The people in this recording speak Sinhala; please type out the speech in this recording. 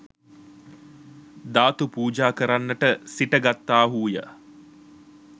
ධාතු පූජා කරන්නට සිට ගත්තාහු ය.